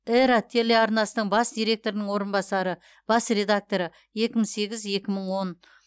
эра телеарнасының бас директорының орынбасары бас редакторы екі мың сегіз екі мың он